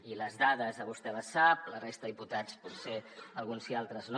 i les dades vostè les sap la resta de diputats potser alguns sí i altres no